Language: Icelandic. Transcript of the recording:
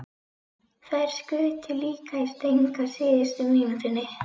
Þær skutu líka í stöng á síðustu mínútunni.